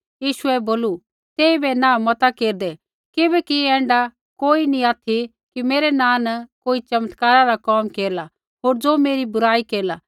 यीशुऐ बोलू तेइबै नाँह मता केरदै किबैकि ऐण्ढा कोई नी ऑथि कि मेरै नाँ न कोई चमत्कारा रा कोम केरला होर ज़ो मेरी बुराई केरला